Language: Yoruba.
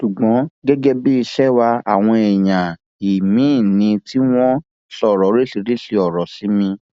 ṣùgbọn gẹgẹ bí ìṣe wa àwọn èèyàn he mí ni tí wọn ń sọ oríṣiríṣiì ọrọ sí mi